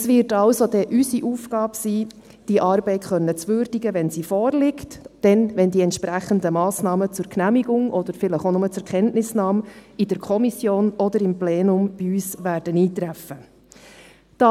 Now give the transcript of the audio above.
Es wird also dann unsere Aufgabe sein, diese Arbeit zu würdigen, wenn sie vorliegt und wenn die entsprechenden Massnahmen zur Genehmigung oder vielleicht auch nur zur Kenntnisnahme in der Kommission oder im Plenum bei uns eintreffen werden.